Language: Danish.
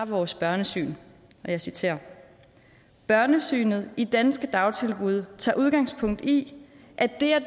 vores børnesyn og jeg citerer børnesynet i danske dagtilbud tager udgangspunkt i at det at